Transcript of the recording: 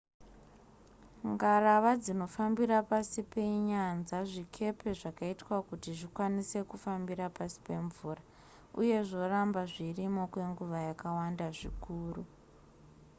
ngarava dzinofambira pasi penyanza zvikepe zvakaitwa kuti zvikwanise kufambira pasi pemvura uye zvoramba zvirimo kwenguva yakawanda zvikuru